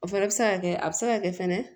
O fɛnɛ bɛ se ka kɛ a bɛ se ka kɛ fɛnɛ